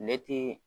Ne ti